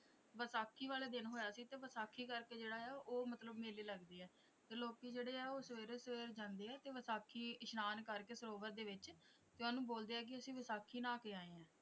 ਵਿਸਾਖੀ ਵਾਲੇ ਦਿਨ ਹੋਇਆ ਸੀ ਤੇ ਵਿਸਾਖੀ ਕਰਕੇ ਜਿਹੜਾ ਹੈ ਉਹ ਮਤਲਬ ਮੇਲੇ ਲੱਗਦੇ ਹੈ ਤੇ ਲੋਕੀ ਜਿਹੜੇ ਆ ਉਹ ਸਵੇਰੇ ਸਵੇਰੇ ਜਾਂਦੇ ਆ ਤੇ ਵਿਸਾਖੀ ਇਸਨਾਨ ਕਰਕੇ ਸਰੋਵਰ ਦੇ ਵਿੱਚ ਤੇ ਉਹਨੂੰ ਬੋਲਦੇ ਆ ਕਿ ਅਸੀਂ ਵਿਸਾਖੀ ਨਹਾ ਕੇ ਆਏ ਹਾਂ।